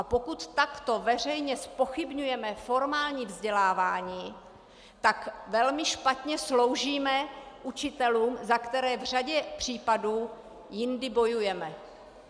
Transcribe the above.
A pokud takto veřejně zpochybňujeme formální vzdělávání, tak velmi špatně sloužíme učitelům, za které v řadě případů jindy bojujeme.